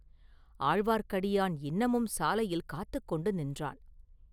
ஆழ்வார்க்கடியான் இன்னமும் சாலையில் காத்துக் கொண்டு நின்றான்.